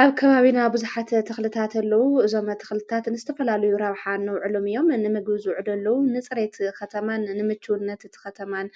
ኣብ ከባቢና ብዙሓት ተኽልታት ኣለዉ። እዞም ተኽልታት ንዝተፈላሉ ረብሓ እነውዕሎም ኣለዉ እዮም። ንምግቢ ዝውዕሉ፣ ንጽሬት ኸተማን ንምችውነት እቲ ኸተማን